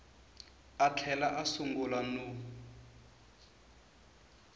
a tlhela a sungula no